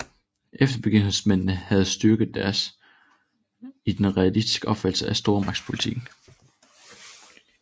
Eftergivenhedsmændene havde deres styrke i den realistiske opfattelse af stormagtspolitikken